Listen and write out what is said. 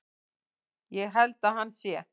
Ég held að hann sé.